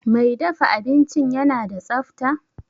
Mai dafa abincin yana da tsafta?